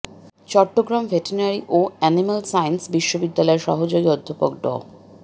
Chittagong veterinary ও animal sciences বিশ্ববিদ্যালয়ের সহযোগী অধ্যাপক ড